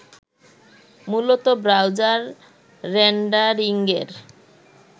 মূলত ব্রাউজার রেন্ডারিঙের